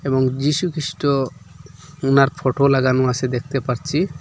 এবং যীশু খ্রীষ্ট উনার ফটো লাগানো আসে দেখতে পারছি।